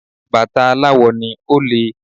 Bàtà aláwò ni, ó le.